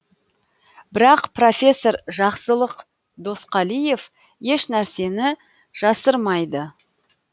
бірақ профессор жақсылық досқалиев ешнәрсені жасырмайды